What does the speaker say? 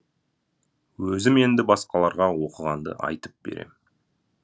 өзім енді басқаларға оқығанды айтып берем